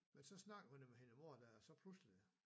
Men så snakker hun jo med hende moren dér og så pludselig